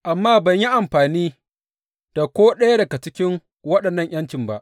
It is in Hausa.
Amma ban yi amfani da ko ɗaya daga cikin waɗannan ’yancin ba.